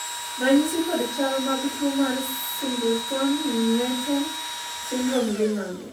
ranyisi kod chal mag tuo mar Singleton Merten syndrome gin mage?